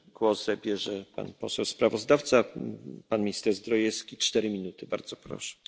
We are looking closely at those measures in our reflection on the EU regime on the ivory trade.